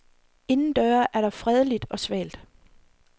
Indendøre er der fredeligt og svalt.